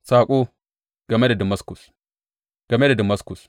Saƙo game da Damaskus Game da Damaskus.